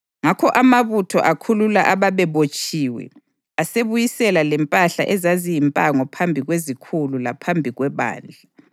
Ngakho amabutho akhulula ababebotshiwe asebuyisela lempahla ezaziyimpango phambi kwezikhulu laphambi kwebandla.